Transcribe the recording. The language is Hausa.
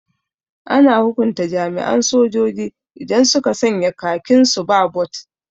Ana hukunta jami'an sojoji idan suka sanya khakin su ba bot